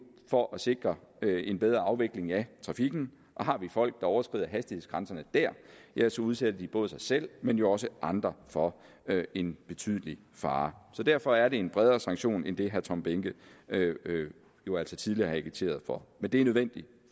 for at sikre en bedre afvikling af trafikken og har vi folk der overskrider hastighedsgrænserne der ja så udsætter de både sig selv men jo også andre for en betydelig fare derfor er det en bredere sanktion end det herre tom behnke jo altså tidligere har agiteret for men det er nødvendigt